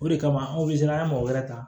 O de kama anw be se an ga mɔgɔ wɛrɛ ta